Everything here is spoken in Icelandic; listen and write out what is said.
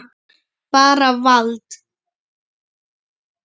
Bara vald.